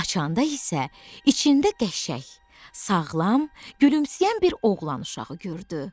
Açanda isə içində qəşəng, sağlam, gülümsəyən bir oğlan uşağı gördü.